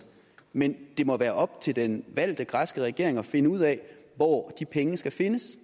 men det må være op til den valgte græske regering at finde ud af hvor de penge skal findes